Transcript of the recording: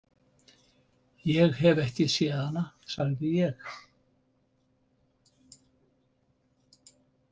Ég hef ekki séð hana, sagði ég.